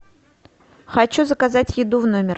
хочу заказать еду в номер